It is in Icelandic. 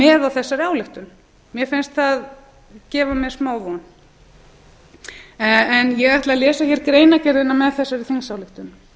með á þessari ályktun mér finnst það gefa mér smávon ég ætla að lesa hér greinargerðina með þessari þingsályktun